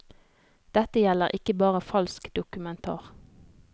Dette gjelder ikke bare falsk dokumentar.